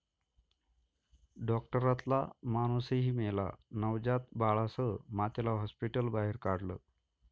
डाॅक्टरातला माणूसही मेला, नवजात बाळासह मातेला हाॅस्पिटलबाहेर काढलं